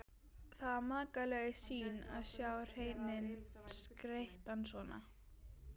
Það var makalaus sýn að sjá hreininn skreyttan svona.